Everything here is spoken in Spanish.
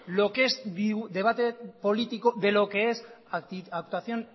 lo que es debate político de lo que es actuación